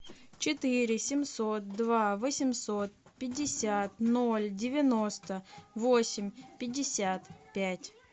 четыре семьсот два восемьсот пятьдесят ноль девяносто восемь пятьдесят пять